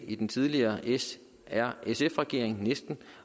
i den tidligere s r sf regering